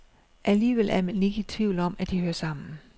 Alligevel er man ikke i tvivl om, at de hører sammen.